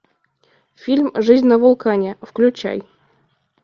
фильм жизнь на вулкане включай